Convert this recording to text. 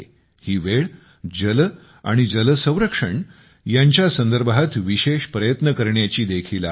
ही वेळ जल आणि जल संरक्षण यांच्या संदर्भात विशेष प्रयत्न करण्याची देखील आहे